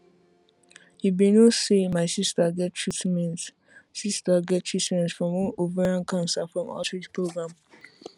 you be no say my sister get treatment sister get treatment from one ovarian cancer from outreach program